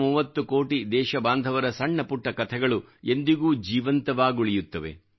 130 ಕೋಟಿ ದೇಶ ಬಾಂಧವರ ಸಣ್ಣ ಪುಟ್ಟ ಕಥೆಗಳು ಎಂದಿಗೂ ಜೀವಂತವಾಗುಳಿತ್ತವೆ